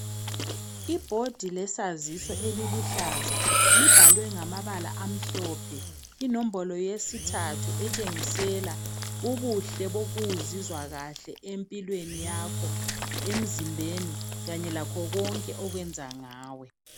Ibhodi lesaziso eliluhlaza libhalwe ngamabala amhlophe. Inombolo yesithathu etshengisela ubuhle bokuzizwa kahle empilweni yakho, emzimbeni, kanye lakho konke okwenza ngawe.